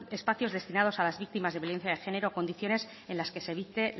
espacios destinados a las víctimas de violencia de género condiciones en las que se evite